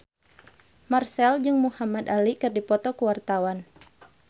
Marchell jeung Muhamad Ali keur dipoto ku wartawan